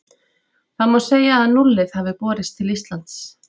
Þá má segja að núllið hafi borist til Íslands.